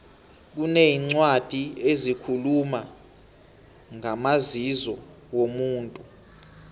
kuneencwadi ezikhuluma ngamazizo womuntu